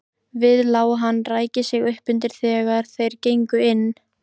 Við lá hann ræki sig uppundir þegar þeir gengu inn.